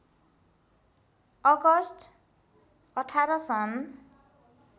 August १८ सन्